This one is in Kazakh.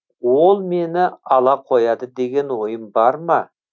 ол мені ала қояды деген ойым бар ма